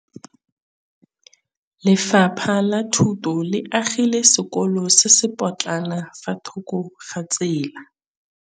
Lefapha la Thuto le agile sekôlô se se pôtlana fa thoko ga tsela.